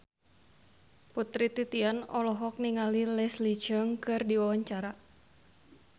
Putri Titian olohok ningali Leslie Cheung keur diwawancara